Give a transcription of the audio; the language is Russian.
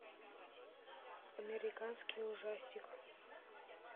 американский ужастик